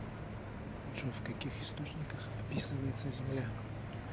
джой в каких источниках описывается земля